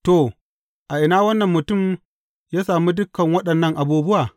To, a ina wannan mutum ya sami dukan waɗannan abubuwa?